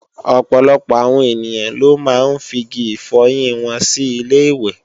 Ọ̀pọ̀lọpọ̀ awon ènìyàn ló máa ń figi ifọyín wọn sí ilé-ìwẹ̀